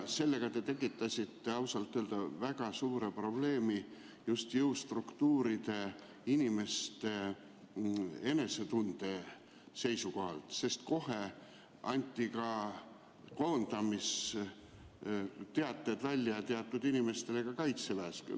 Sellega te tekitasite ausalt öeldes väga suure probleemi just jõustruktuuride inimeste enesetunde seisukohalt, sest kohe anti kaitseväes teatud inimestele välja koondamisteated.